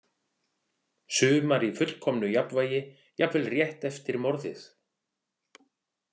Sumar í fullkomnu jafnvægi jafnvel rétt eftir morðið.